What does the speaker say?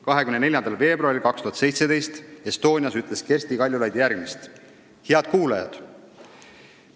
24. veebruaril 2017 ütles Kersti Kaljulaid Estonias järgmist: "Head kuulajad!